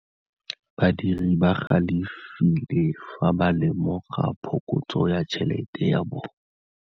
Badiri ba galefile fa ba lemoga phokotsô ya tšhelête ya bone.